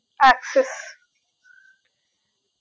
Axis